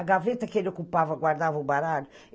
A gaveta que ele ocupava, guardava o baralho.